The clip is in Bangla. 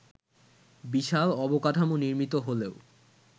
বিশাল অবকাঠামো নির্মিত হলেও